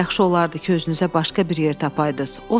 “Yaxşı olardı ki, özünüzə başqa bir yer tapaydınız.